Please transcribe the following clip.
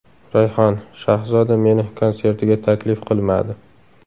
Rayhon: Shahzoda meni konsertiga taklif qilmadi.